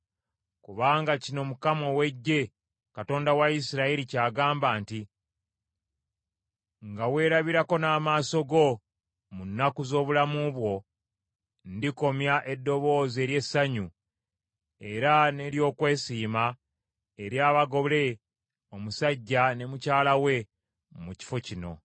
Kubanga kino Mukama ow’Eggye, Katonda wa Isirayiri, ky’agamba nti, “Nga weerabirako n’amaaso go, mu nnaku z’obulamu bwo, ndikomya eddoboozi ery’essanyu era n’ery’okwesiima ery’abagole omusajja ne mukyala we mu kifo kino.